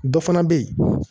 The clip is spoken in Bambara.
Dɔ fana bɛ yen